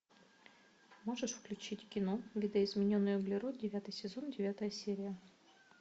можешь включить кино видоизмененный углерод девятый сезон девятая серия